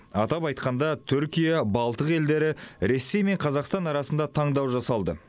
атап айтқанда түркия балтық елдері ресей мен қазақстан арасында таңдау жасалды